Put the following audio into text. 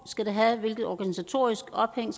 skal have hvilket organisatorisk ophæng